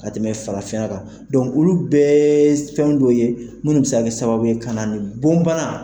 Ka tɛmɛ farafinya ka, dɔnku olu bɛɛ fɛn dɔw ye minnu bɛ se ka kɛ sababu ye ka na ni bon bana ye.